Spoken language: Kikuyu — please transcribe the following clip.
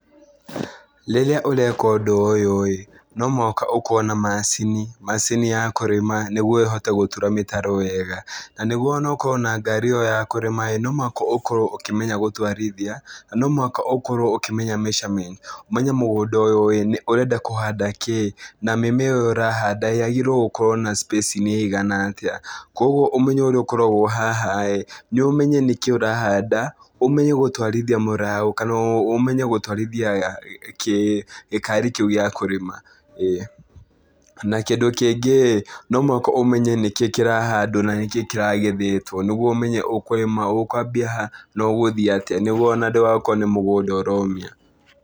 Rĩrĩa ũreka ũndũ ũyũ-ĩ, no mũhaka ũkorwo na macini, macini ya kũrĩma, na nĩguo ĩhote gũtura mĩtaro wega. Na nĩguo ona ũkorwo na ngarii o ya kũrĩma, no mũhaka ũkorwo ũkĩmenya gũtwarithia na no mũhaka ũkorwo ũkĩmenya mĩcamenti, ũmenye mũgũnda ũyũ ũrenda kũhanda kĩĩ na mĩmera ĩo ũrahanda yagĩrĩirwo gũkorwo na cipĩcing'i ĩigana atĩ. Kũoguo ũmenyo ũrĩa ũkoragwo haha-ĩ, nĩ ũmenye nĩkĩĩ ũrahanda, ũmenye gũtwarithia mũraũ kana ũmenye gũtwarithia gĩkari kĩu gĩa kũrĩma ĩĩ. Na kĩndũ kĩngĩ, no mũhaka ũmenye nĩkĩĩ kĩrahandwo na nĩkĩĩ kĩragethetwo nĩguo ũmenye ũkũrĩma, ũkwambia ha na ũgũthiĩ atĩa nĩguo ndũgakorwo o na nĩ mũgũnda ũromia.